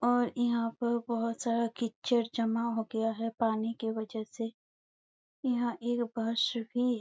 और यहाँ पर बहोत सारा कीचड़ जमा हो गया है पानी की वजह से यहाँ एक बस भी है ।